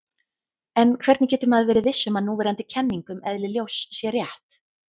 En hvernig getur maður verið viss um að núverandi kenning um eðli ljós sé rétt?